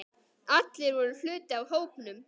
Allir voru hluti af hópnum.